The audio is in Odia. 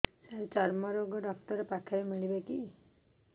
ସାର ଚର୍ମରୋଗ ଡକ୍ଟର ପାଖରେ ମିଳିବେ କି